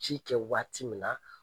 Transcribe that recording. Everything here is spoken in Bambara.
Ci kɛ waati min na